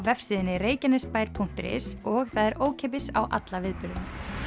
vefsíðunni reykjanesbaer punktur is og er ókeypis á alla viðburðina